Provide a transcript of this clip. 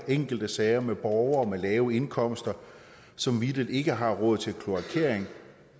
enkelte sager med borgere med lave indkomster som vitterlig ikke har råd til kloakering